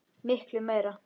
Miklu meira.